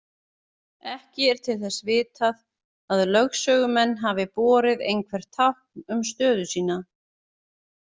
Ekki er til þess vitað að lögsögumenn hafi borið einhver tákn um stöðu sína.